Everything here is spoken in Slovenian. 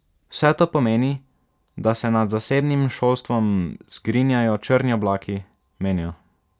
Vse to pomeni, da se nad zasebnim šolstvom zgrinjajo črni oblaki, menijo.